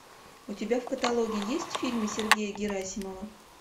у тебя в каталоге есть фильмы сергея герасимова